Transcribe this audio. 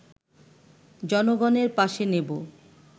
জনগণের পাশে নেব